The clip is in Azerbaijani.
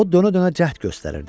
O dönə-dönə cəhd göstərirdi.